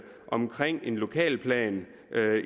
omkring en lokalplan